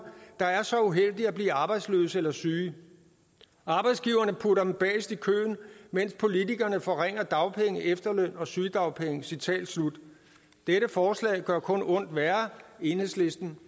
der er så uheldige at blive arbejdsløse eller syge arbejdsgiverne putter dem bagest i køen mens politikerne forringer dagpenge efterløn og sygedagpenge citat slut dette forslag gør kun ondt værre enhedslisten